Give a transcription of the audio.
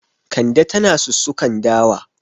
Kande tana sussukan dawa.